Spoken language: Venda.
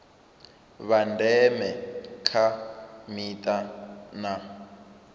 vha ndeme kha mita na